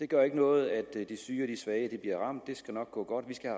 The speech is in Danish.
gør ikke noget at de syge og de svage bliver ramt det skal nok gå godt vi skal